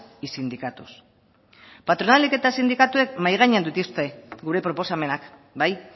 y sindicatos patronalek eta sindikatuek mahai gainean dituzte gure proposamenak bai